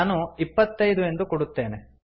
ನಾನು ಇಪ್ಪತ್ತೈದು ಎಂದು ಕೊಡುತ್ತೇನೆ